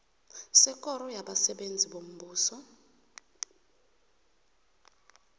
sekoro yabasebenzi bombuso